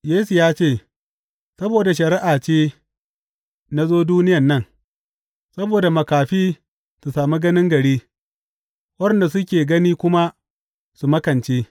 Yesu ya ce, Saboda shari’a ce na zo duniya nan, saboda makafi su sami ganin gari, waɗanda suke gani kuma su makance.